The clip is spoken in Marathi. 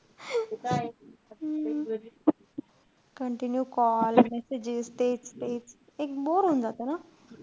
हम्म continue call messages तेच तेच एक bore होऊन जात ना.